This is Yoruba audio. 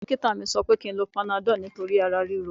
Dókítà mi sọ pé kí n lo panadọ́ọ̀ nítorí ara ríro